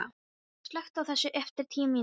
Baddi, slökktu á þessu eftir tíu mínútur.